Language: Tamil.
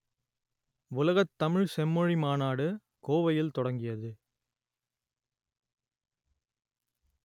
உலகத் தமிழ்ச் செம்மொழி மாநாடு கோவையில் தொடங்கியது